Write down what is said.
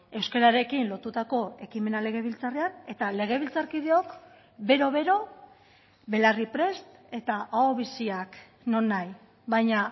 euskararekin lotutako ekimena legebiltzarrean eta legebiltzarkideok bero bero belarri prest eta aho biziak nonahi baina